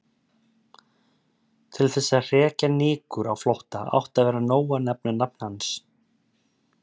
Til þess að hrekja nykur á flótta átti að vera nóg að nefna nafn hans.